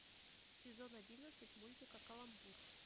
сезон одиннадцать мультика каламбур